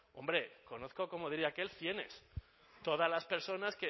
hombre conozco como diría aquel cienes todas las personas